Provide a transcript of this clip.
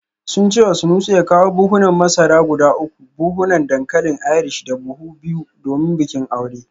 Sun ce wa Sanusi ya kawo buhunan masara guda uku, buhunan dankalin Irish da buhu biyu domin bikin aure